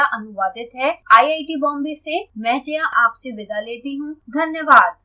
यह स्क्रिप्ट विकास द्वारा अनुवादित है आईआईटी बॉम्बे से मैं जया आपसे विदा लेती हूँ धन्यवाद